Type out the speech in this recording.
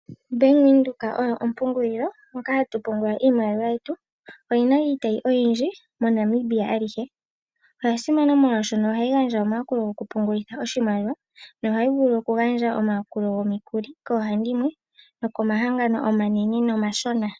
Bank Windhoek oyo ompungulilo hoka hatu pungula iimaliwa yetu. Oyi na iitayi oyindji moNamibia alihe. Oya simana molwashono ohayi gandja omayakulo gokupungulitha oshimaliwa nohayi vulu okugandja omayakulo gomikuli koohandimwe nokomahangano omanene nomashona.